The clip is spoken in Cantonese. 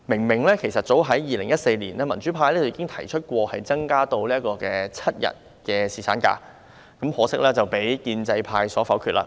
民主派早在2014年已經提出把侍產假日數增至7日，可惜遭建制派否決。